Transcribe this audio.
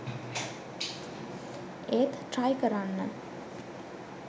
ඒත් ට්‍රයි කරන්න